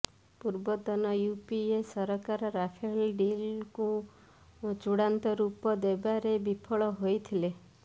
ପୂର୍ବତନ ୟୁପିଏ ସରକାର ରାଫେଲ ଡିଲ୍କୁ ଚୂଡ଼ାନ୍ତ ରୂପ ଦେବାରେ ବିଫଳ ହୋଇଥିଲେ